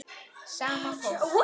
Sama fólk.